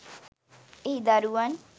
එහි දරුවන්